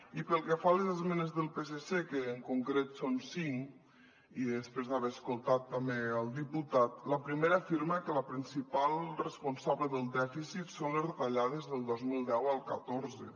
i pel que fa a les esmenes del psc que en concret són cinc i després d’haver escoltat també el diputat la primera afirma que la principal responsable del dèficit són les retallades del dos mil deu al catorze